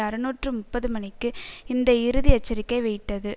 அறுநூற்று முப்பது மணிக்கு இந்த இறுதி எச்சரிக்கை வெயிட்டது